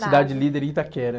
Cidade Líder e Itaquera.